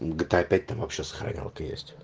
гта там вообще опять сохранялка есть